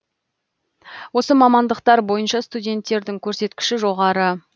осы мамандықтар бойынша студенттердің көрсеткіші жоғары